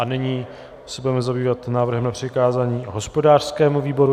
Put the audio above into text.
A nyní se budeme zabývat návrhem na přikázání hospodářskému výboru.